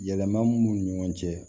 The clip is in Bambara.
Yɛlɛma min b'u ni ɲɔgɔn cɛ